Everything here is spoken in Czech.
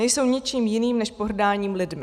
Nejsou ničím jiným než pohrdáním lidmi.